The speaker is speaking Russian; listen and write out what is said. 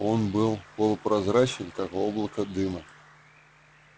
он был полупрозрачен как облако дыма